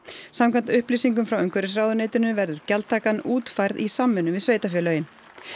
samkvæmt upplýsingum frá umhverfisráðuneytinu verður gjaldtaka útfærð í samvinnu við sveitarfélögin